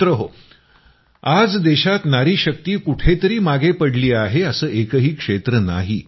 मित्रहो आज देशात नारीशक्ती कुठेतरी मागे पडली आहे असं एकही क्षेत्र नाही